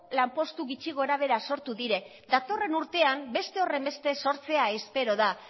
lanpostu gutxi gorabehera sortu dira datorren urtean beste horrenbeste sortzea espero da